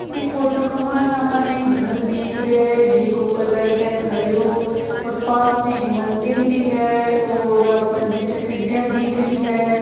ई photo के मायने आपाने एक घर दिख रहियो जिको कलर है हरियो और पास में एक मंदिर भी है और आपाणे जीती सीडिया दिख रही है।